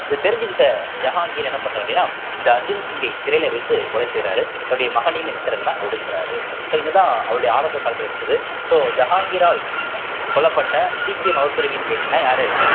இத தெரிஞ்சுக்கிட்ட ஜஹான்கீர் என்ன பண்றாரு அப்படின்னா இந்த அர்ஜுன் சிங்கை சிறையில வைத்து கொலை செய்யறாரு தன்னுடைய மகனையும் என்ன செய்யறாருன்னா ஒதுக்கறாரு so இதுதான் அவருடைய ஆரம்ப காலத்துல இருந்தது so ஜஹாங்கீரால் கொல்லப்பட்ட சீக்கிய மதத்துறைவின்னு கேட்டீங்கன்னா யாரு